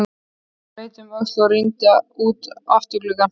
Hann leit um öxl og rýndi út um afturgluggann.